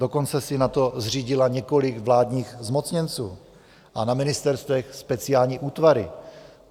Dokonce si na to zřídila několik vládních zmocněnců a na ministerstvech speciální útvary.